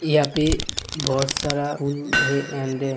यहाँ पे बहोत सारा पुल है एंड --